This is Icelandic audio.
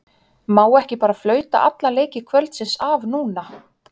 Má ekki bara flauta alla leiki kvöldsins af núna?